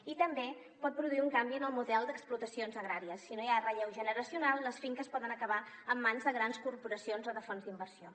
i també pot produir un canvi en el model d’explotacions agràries si no hi ha relleu generacional les finques poden acabar en mans de grans corporacions o de fons d’inversió